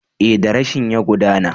Ee, darasin ya gudana.